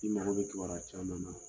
I mago bɛ kibaruya caman na.